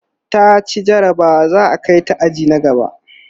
taci jarabawa za'a Kai ta aji na gaba